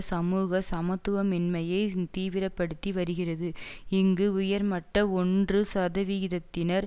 சமூக சமத்துவமின்மையை தீவிர படுத்தி வருகிறது இங்கு உயர்மட்ட ஒன்று சதவீதத்தினர்